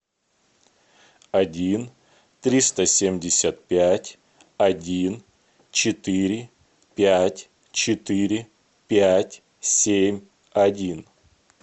один триста семьдесят пять один четыре пять четыре пять семь один